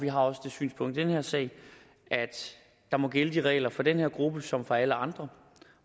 har også det synspunkt i den her sag at der må gælde de regler for den her gruppe som for alle andre